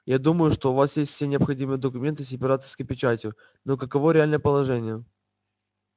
я думаю что у вас есть все необходимые документы с императорской печатью но каково реальное положение